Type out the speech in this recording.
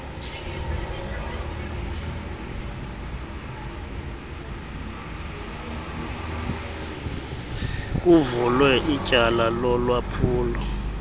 kuvulwe ityala lolwaphulo